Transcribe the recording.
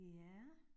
Ja